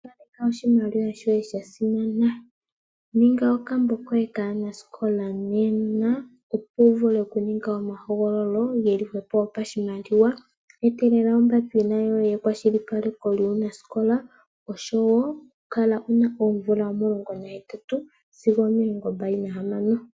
Kaleka oshimaliwa shoye sha simana. Ninga okambo koye kaanasikola nena opo wu vule oku ninga omahogololo geli hwepo gopashimaliwa. Etelela ombapila yoye yekwashilipaleko lyuunasikola, osho wo kala wu na oomvula omulongo nahetatu sigo omilongo mbali nahamano.